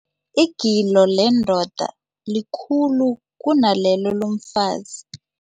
Igilo lendoda likhulu kunalelo lomfazi.